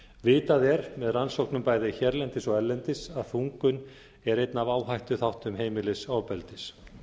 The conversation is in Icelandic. vitað er með rannsóknum bæði hérlendis og erlendis að þungun er einn af áhættuþáttum heimilisofbeldis